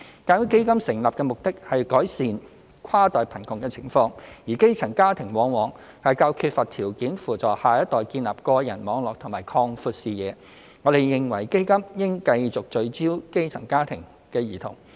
鑒於基金成立的目的是改善跨代貧窮的情況，而基層家庭往往較缺乏條件扶助下一代建立個人網絡及擴闊視野，我們認為基金應繼續聚焦基層家庭的兒童。